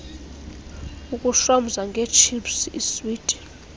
ukushwamza ngeetships iiswiti